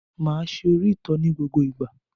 Máa ṣe òrítọ́ ní gbogbo ìgbà.